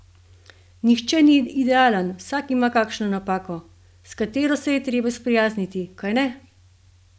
Nihče ni idealen, vsak ima kakšno napako, s katero se je treba sprijazniti, kajne?